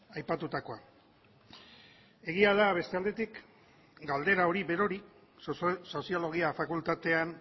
aipatutakoa egia da beste aldetik galdera hori berori soziologia fakultatean